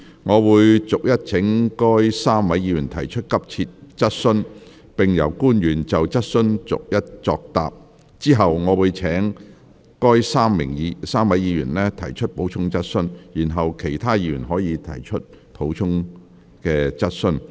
我會逐一請該3位議員提出急切質詢，並由官員就質詢逐一作答，之後我會請該3位議員提出補充質詢，然後其他議員可提出補充質詢。